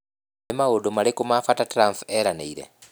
Nĩ maũndũ marĩkũ ma bata Trump eranĩire?